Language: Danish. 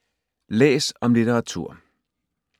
Læs om litteratur